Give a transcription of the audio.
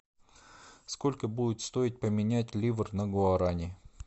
сколько будет стоить поменять ливр на гуарани